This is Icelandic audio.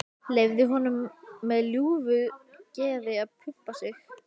Leyfir honum með ljúfu geði að pumpa sig.